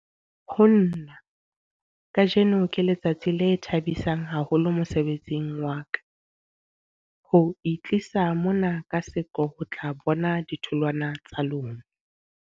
Ho nna, kajeno ke letsatsi le thabisang haholo mosebetsing wa ka, ho itlisa mona ka seqo ho tla bona ditholwana tsa lona.